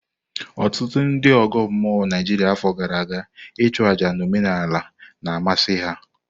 Ọtụtụ ndị ọgọ mmụọ Naijiria afọ gara aga ichu àjá na omenala na amasị ha.